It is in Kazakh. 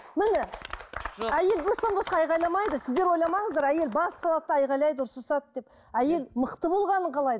міне әйел бостан босқа айғайламайды сіздер ойламаңыздар әйел бас салады да айғайлайды ұрсысады деп әйел мықты болғанын қалайды